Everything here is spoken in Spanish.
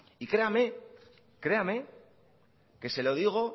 y créame que se lo digo